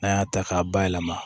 N'an y'a ta k'a bayɛlɛma